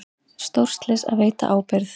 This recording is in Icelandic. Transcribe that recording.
Stórslys að veita ábyrgð